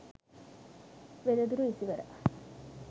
wedaduru isiwara